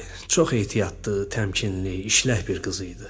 Çox ehtiyatlı, təmkinli, işlək bir qız idi.